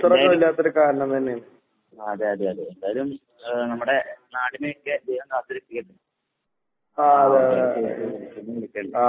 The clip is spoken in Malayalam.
പിന്നേ ആഹ് അതെ അതെ അതെ. എന്തായാലും ഏഹ് നമ്മടെ നാടിനെയൊക്കെ ദൈവം കാത്ത് രക്ഷിക്കട്ടെ.